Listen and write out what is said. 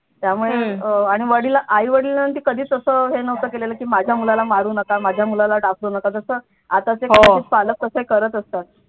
त्यामुळे आई वडिलांशी कधीच असं हे नव्हत केलेलं की माझ्या मुलाला मारू नका माझ्या मुलाला डाखरु नका तस आताचे कदाचित पालक तसे करत असतात